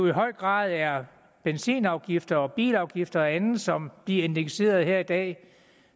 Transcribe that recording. i høj grad er benzinafgifter og bilafgifter og andet som bliver indekseret her i dag